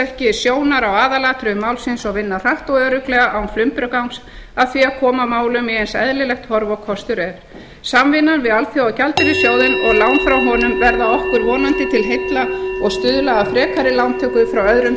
ekki sjónar af aðalatriðum málsins og vinna hratt og örugglega án flumbrugangs að því að koma málum í eins eðlilegt horf og kostur er samvinnan við alþjóðagjaldeyrissjóðinn og lán frá honum verða okkur vonandi til heilla og stuðla að frekari lántöku hjá öðrum